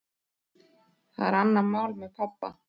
Það er annað mál með pabba.